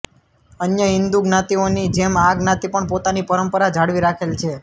અન્ય હિંદુ જ્ઞાતિઓની જેમ આ જ્ઞાતિ પણ પોતાની પરંપરા જાળવી રાખેલ છે